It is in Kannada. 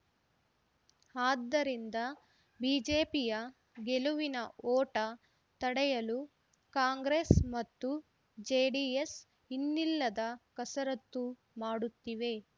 ಆದ್ದರಿಂದ ಬಿಜೆಪಿಯ ಗೆಲುವಿನ ಓಟ ತಡೆಯಲು ಕಾಂಗ್ರೆಸ್‌ ಮತ್ತು ಜೆಡಿಎಸ್‌ ಇನ್ನಿಲ್ಲದ ಕಸರತ್ತು ಮಾಡುತ್ತಿವೆ